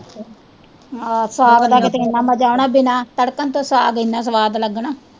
ਆਹੋ ਸਾਗ ਦਾ ਕਿਤੇ ਇਹਨਾਂ ਮਜ਼ਾ ਆਉਣਾ ਬਿਨ੍ਹਾਂ ਤਰਕਣ ਤੋਂ ਸਾਗ ਇਹਨਾਂ ਸਵਾਦ ਲੱਗਣਾ।